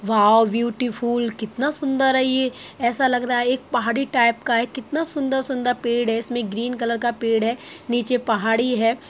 वाव beautiful कितना सुन्दर है ये! ऐसा लग रहा है एक पहाड़ी टाइप का है कितना सुन्दर-सुन्दर पेड़ है इसमें एक ग्रीन कलर का पेड़ है नीचे पहाड़ी है।